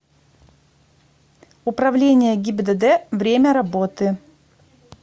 управление гибдд время работы